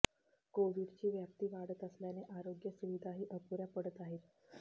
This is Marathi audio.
कोविडची व्याप्ती वाढत असल्याने आरोग्य सुविधाही अपुऱ्या पडत आहेत